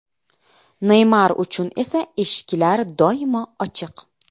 Neymar uchun esa eshiklar doimo ochiq.